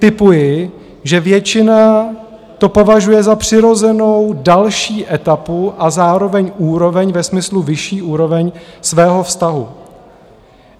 Tipuji, že většina to považuje za přirozenou další etapu a zároveň úroveň, ve smyslu vyšší úroveň, svého vztahu.